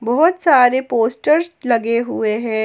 बहुत सारे पोस्टर्स लगे हुए है।